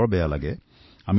মোৰ খুব বেয়া লাগিছিল